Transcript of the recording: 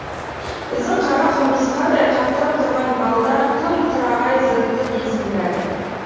біздің қара құмырсқадай қаптап тұрған балдар тым тырағай зытты дейсің бәрі